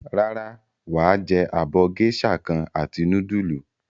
Rárá, wà á jẹ abọ́ géíṣà kan àti núdúlù.